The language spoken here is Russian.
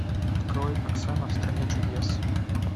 открой оксана в стране чудес